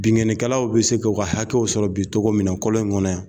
Binkanni kɛlaw bi se ka u ka hakɛw sɔrɔ bi togo min na kɔlɔn in kɔnɔ yan